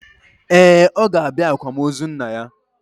Ee, ọ ga-abịa akwamozu nna ya.